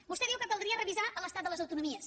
vostè diu que caldria revisar l’estat de les autonomies